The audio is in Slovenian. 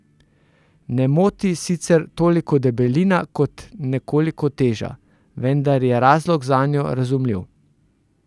Ne moti sicer toliko debelina kot nekoliko teža, vendar je razlog zanjo razumljiv.